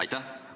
Aitäh!